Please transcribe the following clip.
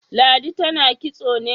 Ladi tana kitso ne?